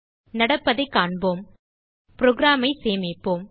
நடப்பதைக் காண்போம் programஐ சேமிப்போம்